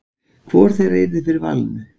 Hvor þeirra yrði fyrir valinu?